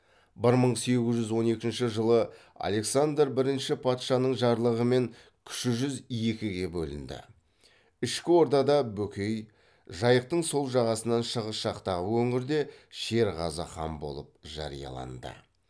бір мың сегіз жүз он екінші жылы александр бірінші патшаның жарлығымен кіші жүз екіге бөлінді ішкі ордада бөкей жайықтың сол жағасынан шығыс жақтағы өңірде шерғазы хан болып жарияланды